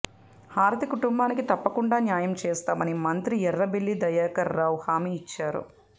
హారతి కుటుంబానికి తప్పకుండా న్యాయం చేస్తామని మంత్రి ఎర్రబెల్లి దయాకర్ రావు హామీ ఇచ్చారు